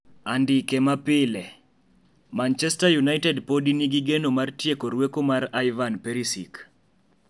(andike ma pile) Manchester United podi nigi geno mar tieko rweko mar Ivan Perisic.